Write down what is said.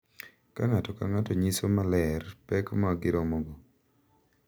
Ka ng’ato ka ng’ato nyiso maler pek ma giromogo,